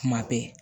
Kuma bɛɛ